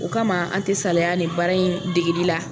O kama an tɛ saliya nin baara in degili la.